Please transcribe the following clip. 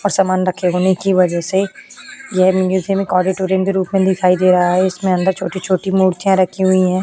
था का सामान के होने की वजह से यह मूसिउम एक ऑडिटोरियम के रूप में दिखाई दे रहा है। इसमे अंदर छोटी-छोटी मूर्तियां रखी हुई हैं।